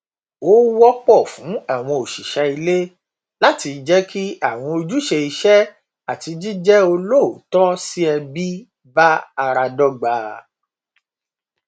ó wọpọ fún àwọn òṣìṣẹ ilé láti jẹ kí àwọn ojúṣe iṣẹ àti jíjẹ olóòótọ sí ẹbí bá ara dọgba